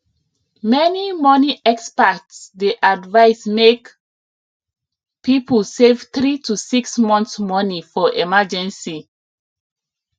many money experts dey advise make people save 3 to 6 months money for emergency